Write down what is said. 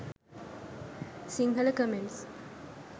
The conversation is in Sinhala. sinhala comments